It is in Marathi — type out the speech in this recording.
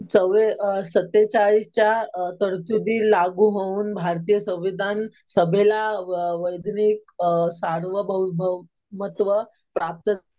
सत्तेचाळीसच्या तरतुदी लागू होऊन भारतीय संविधान सभेलावैधविक सार्वभौमत्व प्राप्त